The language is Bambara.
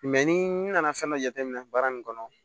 ni nana fɛn dɔ jateminɛ baara nin kɔnɔ